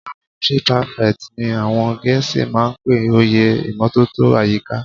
Sanitary prefect ni àwọn gẹ̀ẹ́sì máa ń pe oyè ìmótótó àyíká.